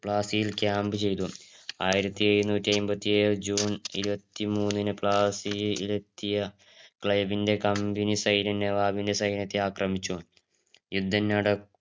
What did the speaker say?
പ്ലാസിയിൽ company ചെയ്തതും ആയിരത്തി എഴുനുട്ടി ആയിമ്പതി ഏഴ് ജൂൺ ഇരുപത്തി മൂന്ന് പ്ലാസിയിൽ എത്തിയ ക്ലൈവിന്‍റെ company സൈന്യം നവാബിന്റെ സൈന്യത്തെ ആക്രമിച്ചു